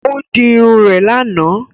Ó di Irun rè lànà